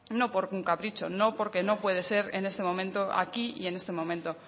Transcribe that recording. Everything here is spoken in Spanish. no por un capricho no porque no puede ser en este momento aquí ni en este momento